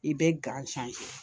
I bɛ gan san